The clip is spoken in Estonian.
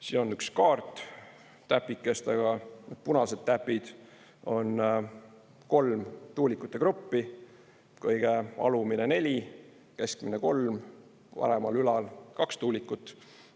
Siin on üks kaart täpikestega: punased täpid on kolm tuulikute gruppi, kõige alumine neli, keskmine kolm, paremal ülal kaks tuulikut.